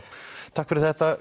takk fyrir þetta